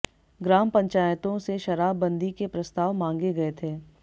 ग्राम पंचायतों से शराब बंदी के प्रस्ताव मांगे गए थे